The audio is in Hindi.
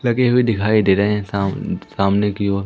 लगे हुए दिखाई दे रहे हैं साम सामने की ओर।